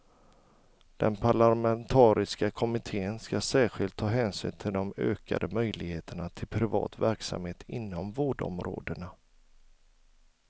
Den parlamentariska kommittén ska särskilt ta hänsyn till de ökade möjligheterna till privat verksamhet inom vårdområdena.